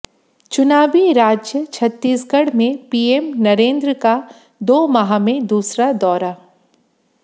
चुनावी राज्य छत्तीसगढ़ में पीएम नरेंद्र का दो माह में दूसरा दौरा